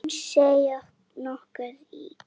Hún seig nokkuð í.